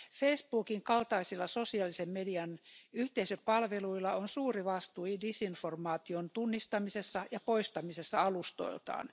Facebookin kaltaisilla sosiaalisen median yhteisöpalveluilla on suuri vastuu disinformaation tunnistamisessa ja poistamisessa alustoiltaan.